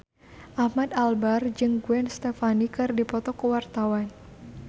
Ahmad Albar jeung Gwen Stefani keur dipoto ku wartawan